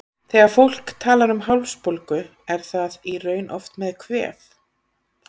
Þegar fólk talar um hálsbólgu er það í raun oft með kvef.